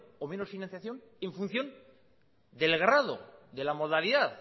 o menos financiación en función del grado de la modalidad